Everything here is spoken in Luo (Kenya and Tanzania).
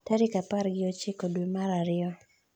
tarik apr gi ochiko dwe mar ariyo